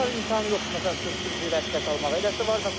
Belə var imtahanı yoxdur, məsəl üçün sürücülük vəsiqəsi almağa.